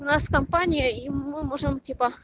у нас компания и мы можем типа